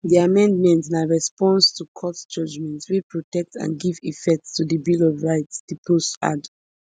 di amendments na response to court judgments wey protect and give effect to di bill of rights di post add